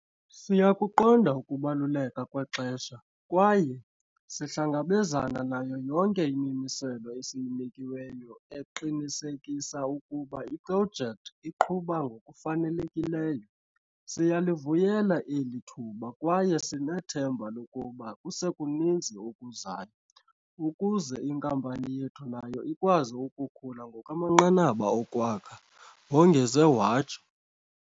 "Siyakuqonda ukubaluleka kwexesha kwaye sihlangabezana nayo yonke imimiselo esiyinikiweyo eqinisekisa ukuba iprojekthi iqhuba ngokufanele kileyo. Siyalivuyela eli thuba kwaye sinethemba lokuba kusekuninzi okuzayo, ukuze inkampani yethu nayo ikwazi ukukhula ngokwamanqanaba okwakha," wongeze watsho.